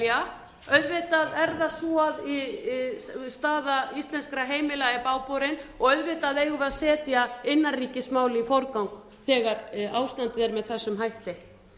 fái að velja auðvitað er það svo að staða íslenskra heimila er bágborin og auðvitað eigum við að setja innanríkismál í forgang þegar ástandið er með þessum hætti